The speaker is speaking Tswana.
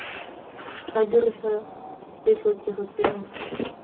tla dirisa ditlhokego tseno fa